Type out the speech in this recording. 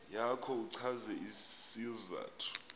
yakho uchaze isizathu